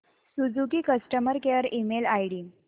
Suzuki customer care email ID